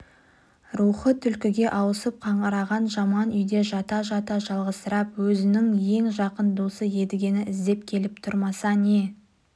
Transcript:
рухы түлкіге ауысып қаңыраған жаман үйде жата жата жалғызсырап өзінің ең жақын досы едігені іздеп келіп тұрмаса не